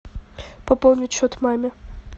пополнить счет маме